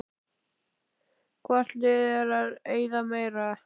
Hvort liðið er að eyða meira?